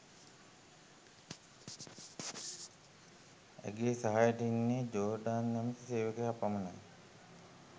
ඇගේ සහයට ඉන්නේ ජෝර්ඩාන් නැමති සේවකයා පමණයි.